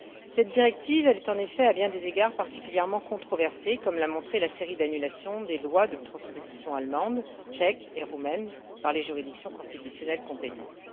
Cette directive est, en effet, à bien des égards particulièrement controversée, comme l'a montré la série d'annulations des lois de transposition allemande, tchèque et roumaine par les juridictions constitutionnelles compétentes.